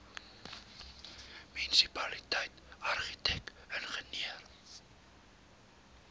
munisipaliteit argitek ingenieur